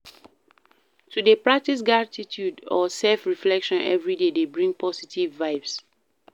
To de practice gratitude or self reflection everyday de bring positive vibes